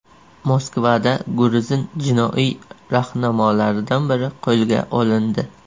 Moskvada gruzin jinoiy rahnamolaridan biri qo‘lga olindi.